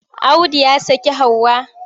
Audu ya saki Hauwa.